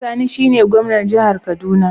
Uba Sani shine gwamnan jihar kaduna.